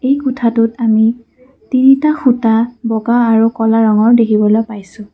এই কোঠাটোত আমি তিনিটা সূতা বগা আৰু ক'লা ৰঙৰ দেখিবলৈ পাইছোঁ।